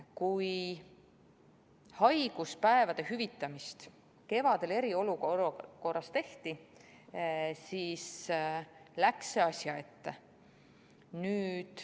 Kui haiguspäevade hüvitamise muudatus kevadel eriolukorras tehti, siis läks see asja ette.